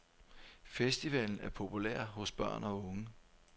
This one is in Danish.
Festivalen er populær hos børn og unge.